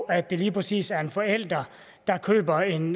at det lige præcis er en forælder der køber en